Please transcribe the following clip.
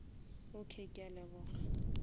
okay ke a leboga